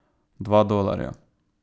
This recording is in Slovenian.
Dva dolarja.